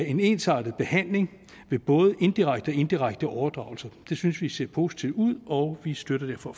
en ensartet behandling ved indirekte indirekte overdragelse det synes vi ser positivt ud og vi støtter derfor